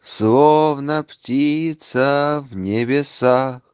словно птица в небесах